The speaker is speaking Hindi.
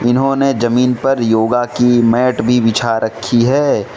इन्होंने जमीन पर योगा की मैट भी बिछा रखी है।